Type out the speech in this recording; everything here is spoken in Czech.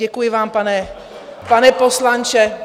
Děkuji vám, pane poslanče...